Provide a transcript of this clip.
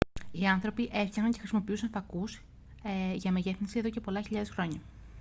οι άνθρωποι έφτιαχναν και χρησιμοποιούσαν φακούς για μεγέθυνση εδώ και πολλές χιλιάδες χρόνια